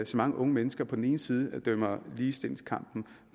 så mange unge mennesker på den ene side dømmer ligestillingskampen